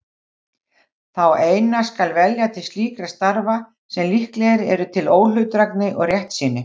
Þá eina skal velja til slíkra starfa sem líklegir eru til óhlutdrægni og réttsýni.